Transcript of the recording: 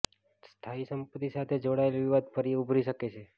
સ્થાયી સંપત્તિ સાથે જોડાયેલ વિવાદ ફરી ઉભરી શકે છે